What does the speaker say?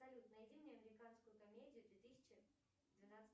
салют найди мне американскую комедию две тысячи двенадцатого